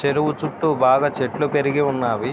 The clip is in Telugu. చెరువు చుట్టు బాగా చెట్లు పెరిగి ఉన్నాయి.